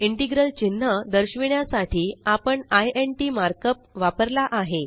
integral चिन्ह दर्शविण्यासाठी आपण इंट मार्कअप वापरला आहे